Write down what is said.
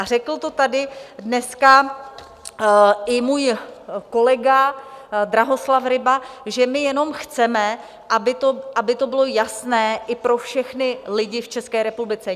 A řekl to tady dneska i můj kolega Drahoslav Ryba, že my jenom chceme, aby to bylo jasné i pro všechny lidi v České republice.